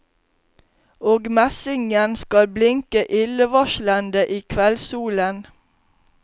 Og messingen skal blinke illevarslende i kveldssolen.